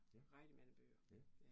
Ja, ja